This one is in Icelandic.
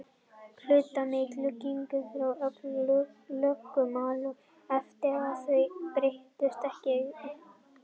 Hlutfallið milli kynjanna ákvarðast af lögmálum erfðafræðinnar og þau breytast ekki í einni heimstyrjöld.